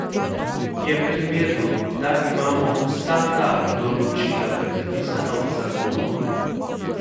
Je primerno, da imamo vsa ta določila predpisana v zakonu?